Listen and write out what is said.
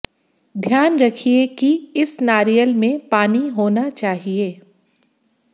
ध्यान रखिए कि इस नारियल में पानी होना चाहिए